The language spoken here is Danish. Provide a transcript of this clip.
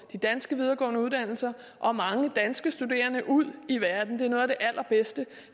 de danske videregående uddannelser og mange danske studerende ud i verden det er noget af det allerbedste